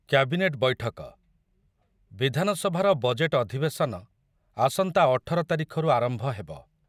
Cabinet ବୈଠକ, ବିଧାନସଭାର budget ଅଧିବେଶନ ଆସନ୍ତା ଅଠର ତାରିଖରୁ ଆରମ୍ଭ ହେବ ।